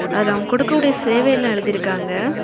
அதுல அவங்க கொடுக்கக்கூடிய சேவை எல்லாம் எழுதிருக்காங்க.